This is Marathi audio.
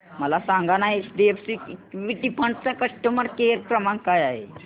मला सांगाना एचडीएफसी इक्वीटी फंड चा कस्टमर केअर क्रमांक काय आहे